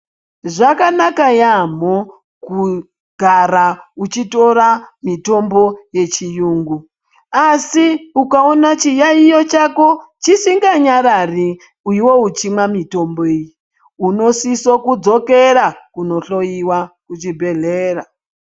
Zvakanaka yaamho kugara uchitora mitombo yechiyungu, asi ukaona chiyaiyo chako chisinganyarari iwewe uchimwa mitombo iyi, unosiso kudzokera kunohloyiwa kuchibhedhlera.